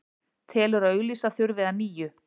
Telur að auglýsa þurfi að nýju